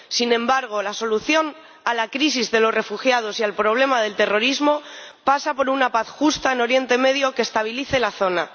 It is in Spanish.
Sin embargo, la solución a la crisis de los refugiados y al problema del terrorismo pasa por una paz justa en Oriente Medio que estabilice la zona.